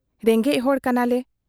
ᱨᱮᱸᱜᱮᱡ ᱦᱚᱲ ᱠᱟᱱᱟᱞᱮ ᱾